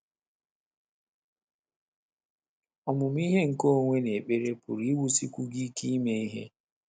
Ọmụmụ ihe nke onwe na ekpere pụrụ iwusikwu gị ike ime ihe